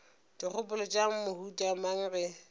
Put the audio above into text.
dikgopolo tša mohuta mang ge